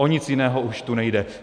O nic jiného tu již nejde.